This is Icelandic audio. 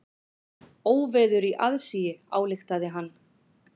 Óveður í aðsigi, ályktaði hann.